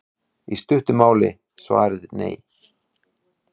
í stuttu máli er svarið nei